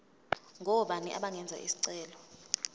ngobani abangenza isicelo